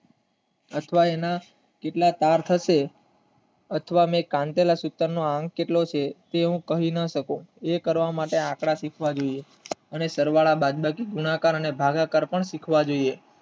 અત્યાર ના કેટલાક આફતો અત્યાર ની કાલ્પનિક સૂત્ર નો કેટલાક લોકો કહી ના શકે એ કરવા માટે આપણે આ સીખવાડુ છે અને સરવાળા ગુણાકાર અને ભાગાકાર પણ સીખવાડુ છે.